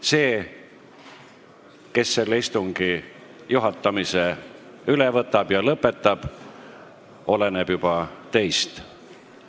See, kes selle istungi juhatamise üle võtab ja lõpetab, oleneb juba teist.